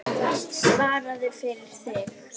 Svaraðu fyrir þig!